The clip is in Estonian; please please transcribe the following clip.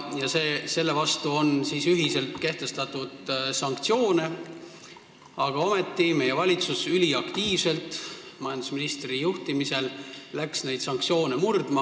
Selle vastu on ühiselt kehtestatud sanktsioone, aga ometi läks meie valitsus üliaktiivselt majandusministri juhtimisel neid sanktsioone murdma.